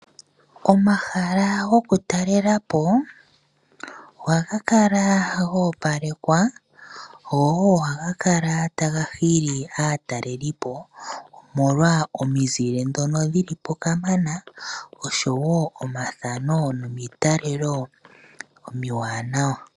Omahala goku talelapo ohaga kala gopalekwa go ohaga kala taga hili aatalelipo omolwa omizile ndhono dhilipo kamana oshowo omathano nomitalelo omiwanawa.